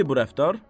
Nədir bu rəftar?